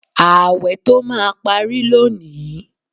Ààwẹ̀ tó máa pari lónìí